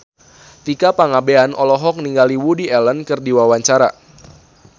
Tika Pangabean olohok ningali Woody Allen keur diwawancara